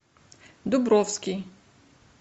дубровский